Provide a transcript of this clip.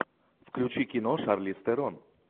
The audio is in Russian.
включи кино шарлиз терон